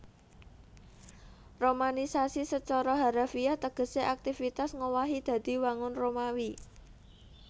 Romanisasi sacara harafiah tegesé aktivitas ngowahi dadi wangun Romawi